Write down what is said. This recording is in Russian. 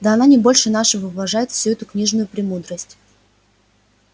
да она не больше нашего уважает всю эту книжную премудрость